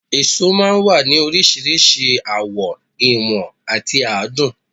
Èso máa ń wà ní oríṣiríṣi àwọ̀, ìwọ̀n àti àádùn